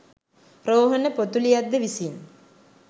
රෝහණ පොතුලියද්ද විසින්